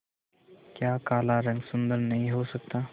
क्या काला रंग सुंदर नहीं हो सकता